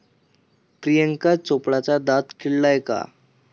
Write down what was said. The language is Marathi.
प्रियांका चोप्राचा दात किडलाय का?